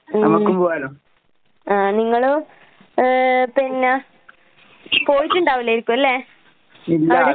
ഉം. ആഹ് നിങ്ങള് ഏ പിന്നാ പോയിട്ടിണ്ടാവല്ലേരിക്കുവല്ലേ? അവിടെ